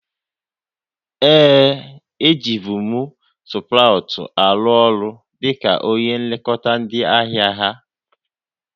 Ee, e ji bụ m Sprout arụbu ọrụ dịka onye nlekọta ndị ahịa ha